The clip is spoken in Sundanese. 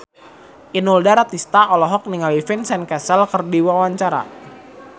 Inul Daratista olohok ningali Vincent Cassel keur diwawancara